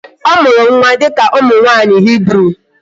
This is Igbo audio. Ọ mụrụ nwa dịka ụmụ nwaanyị Hibru